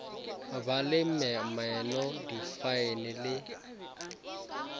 ba le meno difaene le